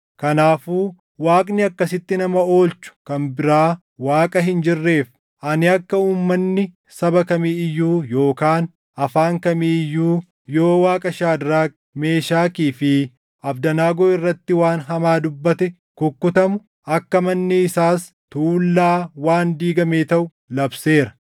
Kanaafuu Waaqni akkasitti nama oolchu kan biraa Waaqa hin jirreef, ani akka uummanni saba kamii iyyuu yookaan afaan kamii iyyuu yoo Waaqa Shaadraak, Meeshakii fi Abdanaagoo irratti waan hamaa dubbate kukkutamu, akka manni isaas tuullaa waan diigamee taʼu labseera.”